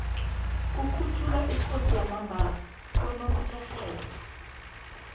kukhunjulwa ikosi yamambala konomtjherhelo